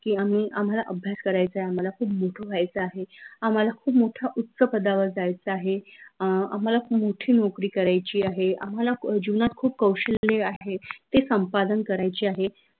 की, आम्ही आम्हाला अभ्यास करायचा आहे आम्हाला खूप मोठं व्हायचं आहे आम्हाला खूप मोठं उच्च पदावर जायचं आहे अं आम्हाला खूप मोठी नौकरी करायची आहे आम्हाला जीवनात खूप कौशल्य आहे ते संपादन करायचे आहे